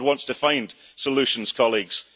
Scotland wants to find solutions, colleagues.